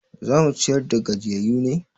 Za mu ciyar da gajiyayyu ne?